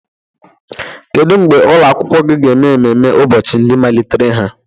Kedu mgbe ụlọ akwụkwọ gị ga-eme ememme ụbọchị ndị malitere ha?